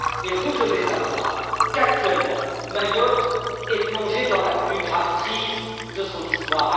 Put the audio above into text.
Et vous devez savoir qu'actuellement, Mayotte est plongée dans la plus grave crise de son histoire.